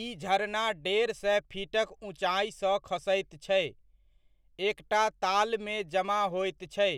ई झरना डेढ़ सए फीटक ऊँचाइसँ खसैत छै, एकटा तालमे जमा होइत छै,